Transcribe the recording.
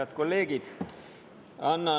Head kolleegid!